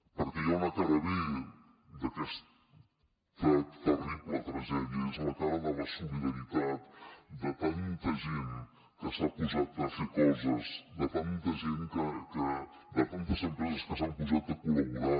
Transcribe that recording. perquè hi ha una cara b d’aquesta terrible tragèdia és la cara de la solidaritat de tanta gent que s’ha posat a fer coses de tantes empreses que s’han posat a col·laborar